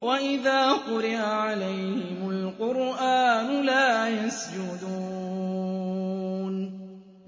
وَإِذَا قُرِئَ عَلَيْهِمُ الْقُرْآنُ لَا يَسْجُدُونَ ۩